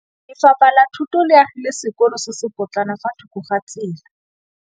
Lefapha la Thuto le agile sekôlô se se pôtlana fa thoko ga tsela.